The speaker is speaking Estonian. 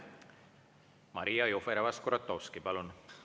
Maria Jufereva-Skuratovski, palun!